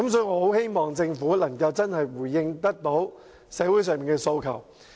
我很希望政府能真正回應社會人士的訴求。